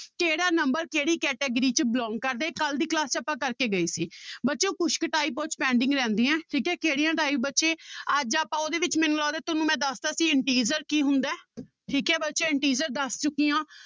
ਕਿਹੜਾ number ਕਿਹੜੀ category 'ਚ belong ਕਰਦਾ ਇਹ ਕੱਲ੍ਹ ਦੀ class 'ਚ ਆਪਾਂ ਕਰਕੇ ਗਏ ਸੀ ਬੱਚਿਓ ਕੁਛ ਕੁ type ਉਹ 'ਚ pending ਰਹਿੰਦੀਆਂ ਠੀਕ ਹੈ ਕਿਹੜੀਆਂ type ਬੱਚੇ, ਅੱਜ ਆਪਾਂ ਉਹਦੇ ਵਿੱਚ ਮੈਨੂੰ ਲੱਗਦਾ ਤੁਹਾਨੂੰ ਮੈਂ ਦੱਸ ਦਿੱਤਾ ਸੀ integer ਕੀ ਹੁੰਦਾ ਹੈ ਠੀਕ ਹੈ ਬੱਚੇ integer ਦੱਸ ਚੁੱਕੀ ਹਾਂ